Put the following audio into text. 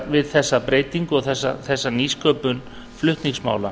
við þessa breytingu og þessa nýsköpun flutningsmála